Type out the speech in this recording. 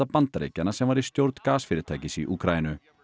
Bandaríkjanna sem var í stjórn gasfyrirtækis í Úkraínu